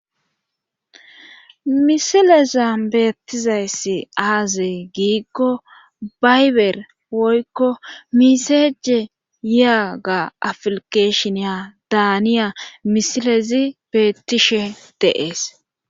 Misilezan beettizayssi aaze giiko bayber woykko misseje yiyaaga aflikesheniya daaniya misilezi beettishe de7ees.